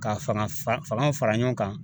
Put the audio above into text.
Ka fanga faganw fara ɲɔgɔn kan